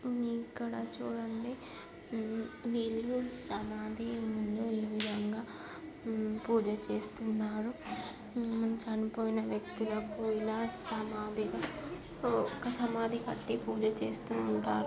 ఈ ఇక్కడ చూడండి ఉ వీళ్ళు సమాధి ముందు ఏ విధంగా ఉ-పూజ చేస్తున్నారు. ఉ చనిపోయిన వ్యక్తులకు ఇలా సమాధిగా ఒక సమాధి కట్టి పూజ చేస్తూ ఉంటారు.